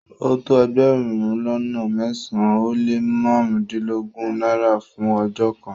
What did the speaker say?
O tó ègbérùn lọ́nà mẹ́sán-an o le màrundinlọ́gọ́run Naira fún ọjọ́ kan